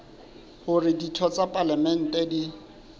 hore ditho tsa palamente di